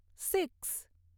six